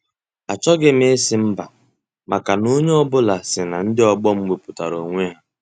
Achọghị m ịsị mba maka na onye ọ bụla si na ndị ọgbọ m wepụtara onwe ha.